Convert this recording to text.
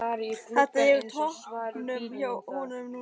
Þetta er á toppnum hjá honum núna.